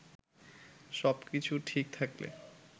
সবকিছু ঠিক থাকলে